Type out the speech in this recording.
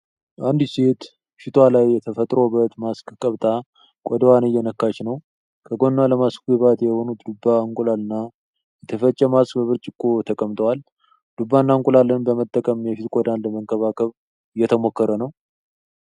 አንዲት ሴት ፊት ላይ የተፈጥሮ ውበት ማስክ ቀብታ፣ ቆዳዋን እየነካች ነው። ከጎኗ ለማስኩ ግብአት የሆኑት ዱባ፣ እንቁላል እና የተፈጨ ማስክ በብርጭቆ ተቀምጠዋል። ዱባና እንቁላልን በመጠቀም የፊት ቆዳን ለመንከባከብ እየተሞከረ ነው።